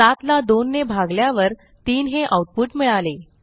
7 ला 2 ने भागल्यावर 3 हे आऊटपुट मिळाले